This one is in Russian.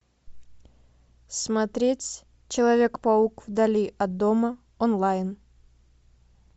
смотреть человек паук вдали от дома онлайн